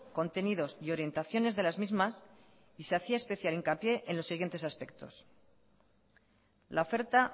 contenidos y orientaciones de las mismas y se hacía especial hincapié en los siguientes aspectos la oferta